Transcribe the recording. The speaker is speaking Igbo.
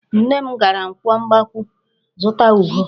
Nne m gara nkwọ Mgbakwụ zụta ube.